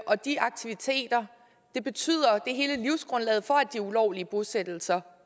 og de aktiviteter er hele livsgrundlaget for at de ulovlige bosættelser